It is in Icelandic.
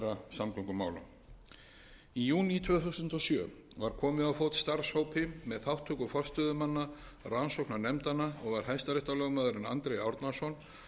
samgöngumála í júní tvö þúsund og sjö var komið á fót starfshópi með þátttöku forstöðumanna rannsóknarnefndanna og var hæstaréttarlögmaðurinn andri árnason